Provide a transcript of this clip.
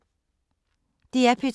DR P2